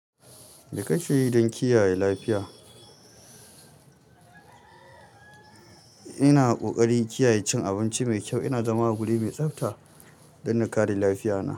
Mai kake yi don kiyaye lafiya? Ina ƙoƙarin kiyaye cin abinci mai kyau ina zama a guri mai tsafta don na kare lafiya na.